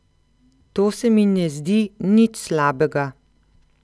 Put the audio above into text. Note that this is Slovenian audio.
To se mi ne zdi nič slabega.